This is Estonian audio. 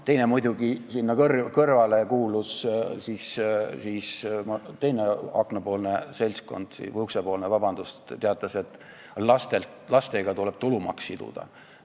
Teine asi muidugi sinna kõrvale: teine uksepoolne seltskond teatas, et tulumaks tuleb siduda laste arvuga.